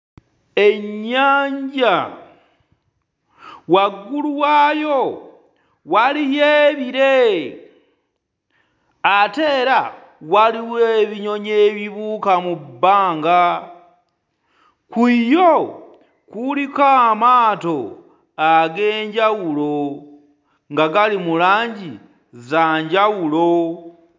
Ennyanja, waggulu waayo waliyo ebire ate era waliwo ebinyonyi ebibuuka mu bbanga. Ku yo kuliko amaato ag'enjawulo nga gali mu langi za njawulo.